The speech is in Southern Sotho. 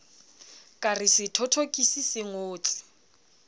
ka re sethothokisi se ngotse